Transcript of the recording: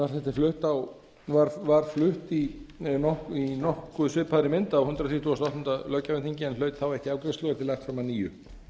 frumvarp þetta var flutt í nokkuð svipaðri mynd á hundrað þrítugasta og áttunda löggjafarþingi en hlaut þá ekki afgreiðslu og er því lagt fram að nýju